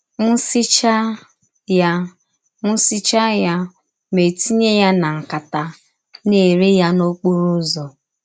M sichaa ya M sichaa ya, mụ etinye ya na nkata, na - ere ya n’ọkpọrọ ụzọ.